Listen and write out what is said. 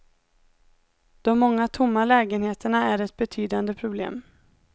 De många tomma lägenheterna är ett betydande problem.